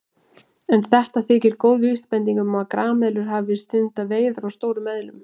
En þetta þykir góð vísbending um að grameðlur hafi stundað veiðar á stórum eðlum.